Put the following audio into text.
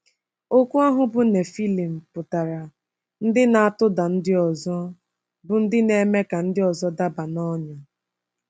Okwu ahụ bụ́ “Nefilim” pụtara “Ndị Na-atụda Ndị Ọzọ,” bụ́ ndị na-eme ka ndị ọzọ daba n’ọnyà.